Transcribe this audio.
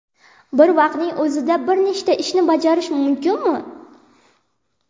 Bir vaqtning o‘zida bir nechta ishni bajarish mumkinmi?